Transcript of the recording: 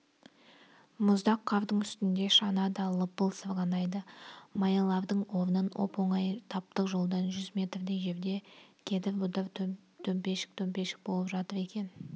мұздақ қардың үстінде шана да лыпып сырғанайды маялардың орнын оп-оңай таптық жолдан жүз метрдей жерде кедір-бұдыр төмпешік-төмпешік болып жатыр екен